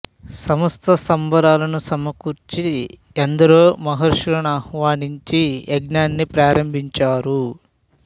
సమస్త సంభారాలను సమకూర్చి ఎందరో మహర్షుల నాహ్వానించి యజ్ఞాన్ని ప్రారంభించారు